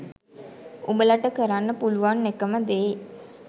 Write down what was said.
උඹලට කරන්න පුළුවන් එකම දේ